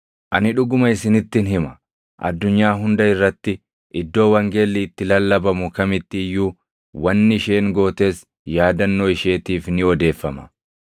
Ani dhuguma isinittin hima; addunyaa hunda irratti, iddoo wangeelli itti lallabamu kamitti iyyuu wanni isheen gootes yaadannoo isheetiif ni odeeffama.”